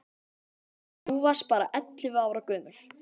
Og þú varst bara ellefu ára gömul.